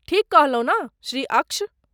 ठीक कहलौं ने श्री अक्ष?